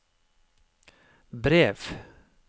brev